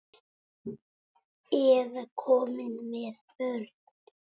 Eða komin með börn?